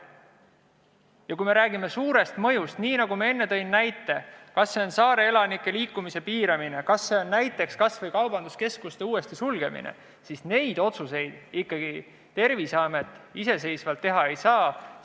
Ja kui me räägime suurest mõjust, näiteks saareelanike liikumise piiramine või kaubanduskeskuste uuesti sulgemine, siis neid otsuseid Terviseamet iseseisvalt teha ei saa.